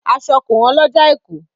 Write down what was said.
Aṣọ kò hán lọjà èkó.